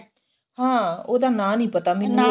ਹਾਂ ਉਹਦਾ ਨਾਂ ਨਹੀਂ ਪਤਾ ਮੈਨੂੰ ਕੀ